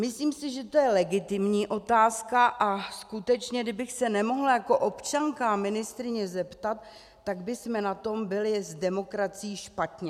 Myslím si, že to je legitimní otázka, a skutečně kdybych se nemohla jako občanka a ministryně zeptat, tak bychom na tom byli s demokracií špatně.